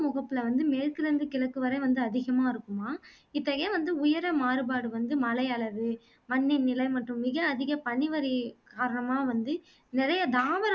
முகப்புல இருந்து மேற்கிலே இருந்து கிழக்கு வரை ரொம்ப அதிகமா இருக்குமாம் இப்போ ஏன் வந்து உயரம் மாறுபாடு வந்து மழையளவு, மண்ணின் நிலை மற்றும் மிக அதிக பனிவரியைக் காரணமா வந்து நிறைய தாவர